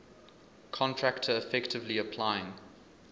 contractor effectively applying